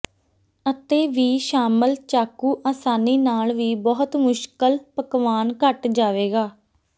ਅਤੇ ਵੀ ਸ਼ਾਮਲ ਚਾਕੂ ਆਸਾਨੀ ਨਾਲ ਵੀ ਬਹੁਤ ਮੁਸ਼ਕਿਲ ਪਕਵਾਨ ਕੱਟ ਜਾਵੇਗਾ